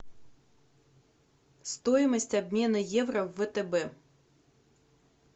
стоимость обмена евро в втб